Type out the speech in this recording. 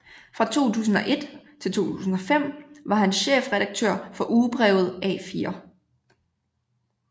Fra 2001 til 2005 var han chefredaktør for Ugebrevet A4